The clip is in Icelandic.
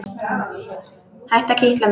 Hættu að kitla mig.